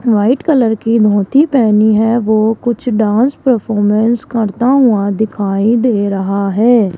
White colour की धोती पहनी है वो कुछ डांस परफॉर्मेंस करता हुआ दिखाई दे रहा है।